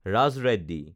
Raj Reddy